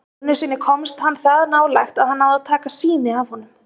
Einu sinni komst hann það nálægt að hann náði að taka sýni af honum.